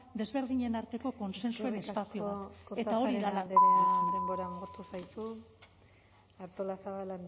desberdinen arteko kontsensuaren espazio bat eta hori da galdera eskerrik asko kortajarena andrea denbora agortu zaizu artolazabal